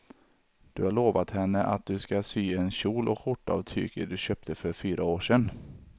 Du har lovat henne att du ska sy en kjol och skjorta av tyget du köpte för fyra år sedan.